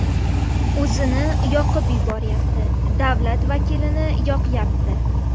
O‘zini yoqib yuboryapti , davlat vakilini yoqyapti .